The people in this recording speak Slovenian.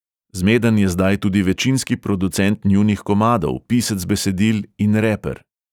Zmeden je zdaj tudi večinski producent njunih komadov, pisec besedil in reper.